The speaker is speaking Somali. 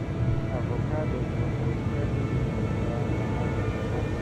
Avocados waxay kaa dhigi kartaa lacag fiican.